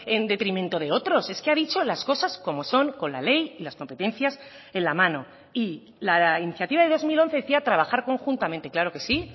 en detrimento de otros es que ha dicho las cosas como son con la ley y las competencias en la mano y la iniciativa de dos mil once decía trabajar conjuntamente claro que sí